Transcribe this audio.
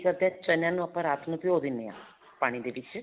ਚਣਿਆਂ ਨੂੰ ਰਾਤ ਨੂੰ ਆਪਾਂ ਭਿਓ ਦਿੰਨੇ ਹਾਂ ਪਾਣੀ ਦੇ ਵਿੱਚ